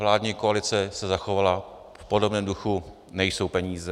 Vládní koalice se zachovala v podobném duchu - nejsou peníze.